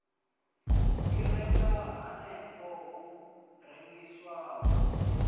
i renga hanefho hu rengiswaho